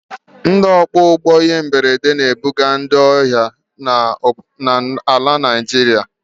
Ndị ọkwọ ụgbọ ihe mberede na-ebuga ndị ọrịa na Naịjirịa.